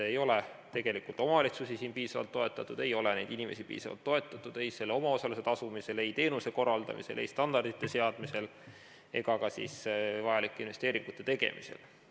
Ei ole tegelikult omavalitsusi piisavalt toetatud ega ole neid inimesi piisavalt toetatud ei omaosaluse tasumisel, ei teenuse korraldamisel, ei standardite seadmisel ega ka vajalike investeeringute tegemisel.